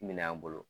Minɛn an bolo